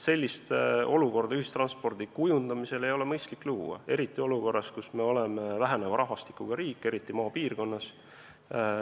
Sellist olukorda ühistranspordi kujundamisel ei ole mõistlik luua, eriti praegu, kui meie riigi rahvastik väheneb, eelkõige maapiirkonnas.